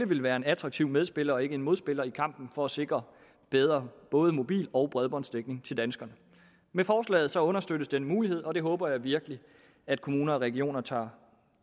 vil være attraktive medspillere og ikke en modspiller i kampen for at sikre bedre både mobil og bredbåndsdækning til danskerne med forslaget understøttes den mulighed og det håber jeg virkelig at kommuner og regioner tager